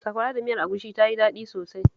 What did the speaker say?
Sakwara da miyar agushin ta yi daɗi sosai